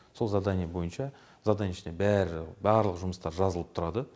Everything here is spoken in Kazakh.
сол задание бойынша заданиенің ішіне бәрі барлық жұмыстар жазылып тұрады